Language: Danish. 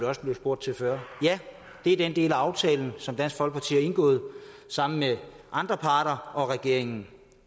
også spurgt til før er den del af aftalen som dansk folkeparti har indgået sammen med andre parter og regeringen